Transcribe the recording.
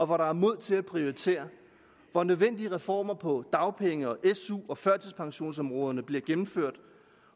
hvor der er mod til at prioritere hvor nødvendige reformer på dagpenge su og førtidspensionsområderne bliver gennemført